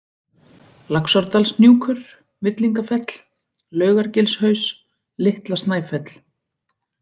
Laxárdalshnjúkur, Villingafell, Laugargilshaus, Litla-Snæfell